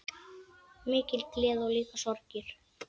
Mikil gleði og líka sorgir.